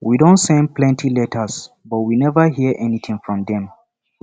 we don send plenty letters but we never hear anything from dem